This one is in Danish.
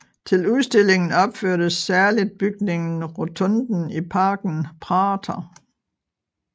Til udstillingen opførtes særligt bygningen Rotunden i parken Prater